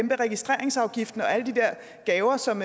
registreringsafgiften og alle de der gaver som